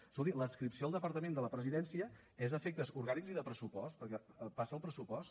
escolti l’adscripció al departament de la presidència és a efectes orgànics i de pressupost perquè en passa el pressupost